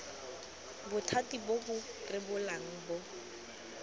bothati bo bo rebolang bo